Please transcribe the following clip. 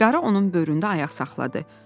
Qarı onun böyründə ayaq saxladı.